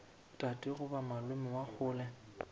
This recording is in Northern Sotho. tate goba malome wa kgole